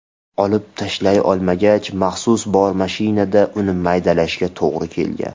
Olib tashlay olmagach, maxsus bormashinada uni maydalashga to‘g‘ri kelgan.